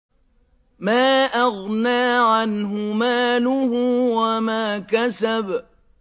مَا أَغْنَىٰ عَنْهُ مَالُهُ وَمَا كَسَبَ